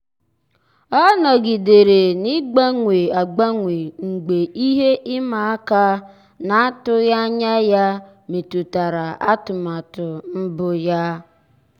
ọ́ nọ́gídèrè n’ị́gbànwé ágbànwé mgbe ihe ịma aka na-atụghị anya ya métụ́tárà atụmatụ mbụ ya.